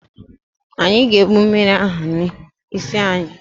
Anyị ga-ebụ mmiri ahụ n'isi anyị